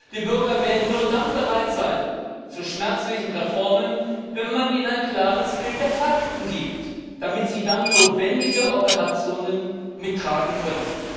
Die Bürger werden nur dann zu schmerzlichen Reformen bereit sein, wenn man ihnen ein klares Bild der Fakten gibt, damit sie dann notwendige Operationen mittragen können.